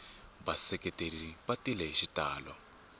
vaseketeri va tile hi xitalo